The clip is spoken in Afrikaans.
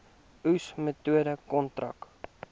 oes metode kontrak